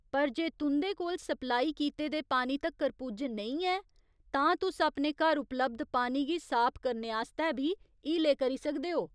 पर जे तुं'दे कोल सप्लाई कीते दे पानी तक्कर पुज्ज नेईं ऐ, तां तुस अपने घर उपलब्ध पानी गी साफ करने आस्तै बी हीले करी सकदे ओ।